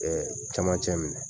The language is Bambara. Ɛɛ camancɛ minɛ